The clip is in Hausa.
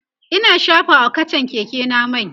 Ina shafa wa kachan Keke na mai